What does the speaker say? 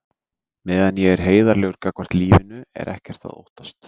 Meðan ég er heiðarlegur gagnvart lífinu er ekkert að óttast.